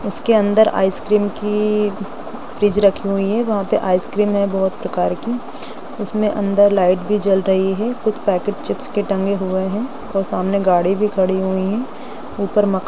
उसके अंदर ice cream की फ्रिज रखी हुई है वहां पर आइस क्रीम है बहुत प्रकार की उसमे अंदर लाइट भी जल रही है कुछ पैकेट चिप्स के टंगे हुए है और सामने गाड़ी भी खड़ी हुई है ऊपर मकान--